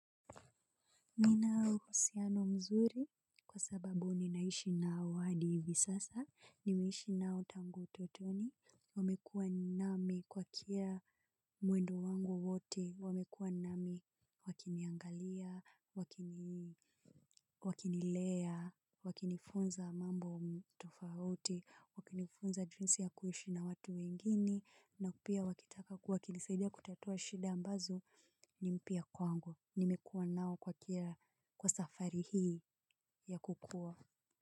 Nina uhusiano mzuri kwa sababu ninaishi nao hadi hivi sasa, nimeishi nao tangu utotoni, wamekuwa nami kwa kila mwendo wangu wote wamekuwa nami wakiniangalia, wakini wakinilea, wakinifunza mambo tofauti, wakinifunza jinsi ya kuishi na watu wengine na pia wakitaka wakinisaidia kutatua shida ambazo ni mpya kwangu. Nimekuwa nao kwa kila kwa safari hii ya kukua.